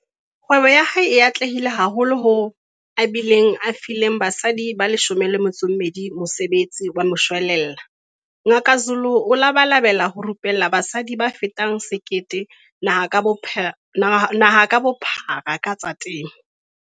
Kgwebo ya hae e atlehile haholo hoo a bileng a file basadi ba 12 mosebetsi wa moshwelella. Ngaka Zulu o labalabela ho rupella basadi ba fetang 1 000 naha ka bophara ka tsa temo.